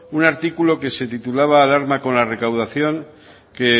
un artículo que se titulaba alarma con la recaudación que